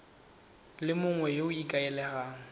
le mongwe yo o ikaelelang